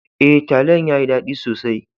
E, talliyan ya yi dadi sosai.